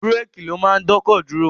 Bírèèkì ló máa ń dọ́kọ̀ dúró.